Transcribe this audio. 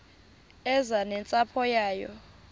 eze nentsapho yayo